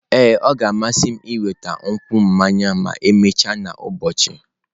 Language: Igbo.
Ee, ọ ga-amasị m ịnweta nkwụ mmanya ma emechaa n'ụbọchị.